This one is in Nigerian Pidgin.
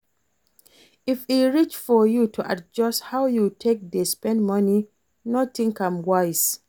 If e reach for you to adjust how you take dey spend money, no think am twice